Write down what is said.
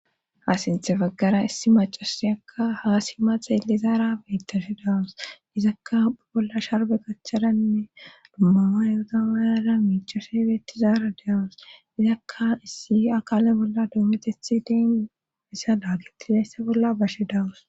Ha sintxe baggara issi macasi akka haasima xeele zaara beyttashe daawus dizakka bolla sharbe gachchadainne dummama yoota mayada miichashebeettizaara deawus dizakka issi akaale bolla doometethi deenessa laagitidayssa bolla bashe dawus.